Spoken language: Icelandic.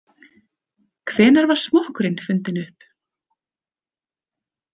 Hvenær var smokkurinn fundinn upp?